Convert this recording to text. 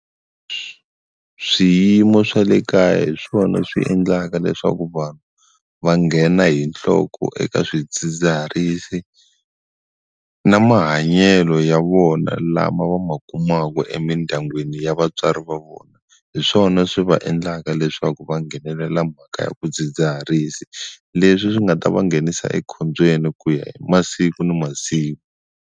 Swiyimo swa le kaya hi swona swi endlaka leswaku vanhu va nghena hi nhloko eka swidzidziharisi na mahanyelo ya vona lama va ma kumaka emindyangwini ya vatswari va vona hi swona swi va endlaka leswaku va nghenelela mhaka ya swidzidziharisi leswi swi nga ta va nghenisa ekhombyeni ku ya hi masiku na masiku.